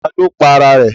Ta ló pa ara ẹ̀?